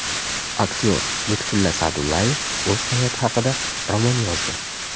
Aktyor Lutfulla Sa’dullayev o‘z hayoti haqida roman yozdi.